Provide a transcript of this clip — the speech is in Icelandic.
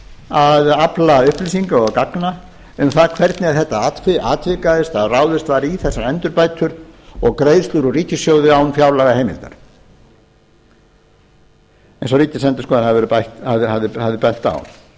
að afla upplýsinga og gagna um það hvernig þetta atvikaðist að ráðist var í þessar endurbætur og greiðslur úr ríkissjóði án fjárlagaheimildar eins og ríkisendurskoðun hafði bent